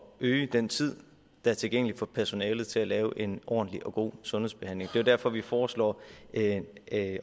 øge den tid der er tilgængelig for personalet til at udføre en ordentlig og god sundhedsbehandling det er derfor vi foreslår at